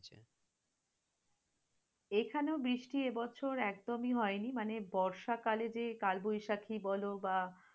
এখানেও বৃষ্টি এবছর একদমই হয়নি, মানে বর্ষাকালে যে কালবৈশাখী বল বা